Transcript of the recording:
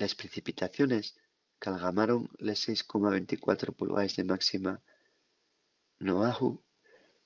les precipitaciones qu'algamaron les 6,24 pulgaes de máxima n'oahu